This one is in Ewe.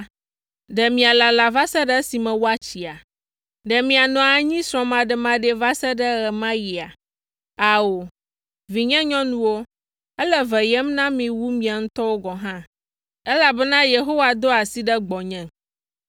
ɖe mialala va se ɖe esime woatsia? Ɖe mianɔ anyi srɔ̃maɖemaɖee va se ɖe ɣe ma ɣia? Ao, vinyenyɔnuwo, ele veyem na mi wu miawo ŋutɔ gɔ̃ hã, elabena Yehowa do asi ɖe gbɔnye!”